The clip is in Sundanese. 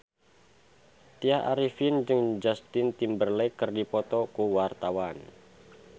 Tya Arifin jeung Justin Timberlake keur dipoto ku wartawan